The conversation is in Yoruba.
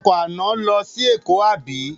Ọkọ̀ àná lọ sí Èkó àbí?